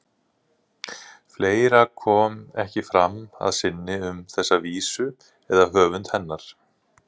Fleira kom ekki fram að sinni um þessa vísu eða höfund hennar.